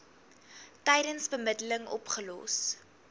tydens bemiddeling opgelos